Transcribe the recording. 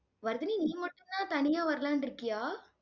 வர்தினி நீ மட்டும்தான் தனியா வரலான்னு இருக்கியா?